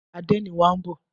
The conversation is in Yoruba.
Àdénì wa ń bọ̀.